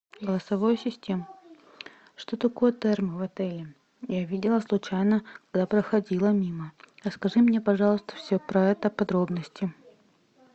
голосовой ассистент что такое термо в отеле я видела случайно когда проходила мимо расскажи мне пожалуйста все про это подробности